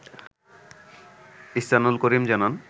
ইহসানুল করিম জানান